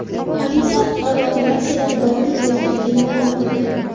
Politsiya qutqaruv operatsiyalari davom etayotganligini ma’lum qildi.